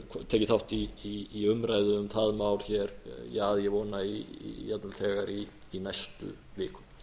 geta tekið þátt í umræðu um það mál hér að ég vona jafnvel þegar í næstu viku